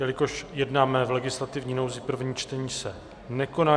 Jelikož jednáme v legislativní nouzi, první čtení se nekoná.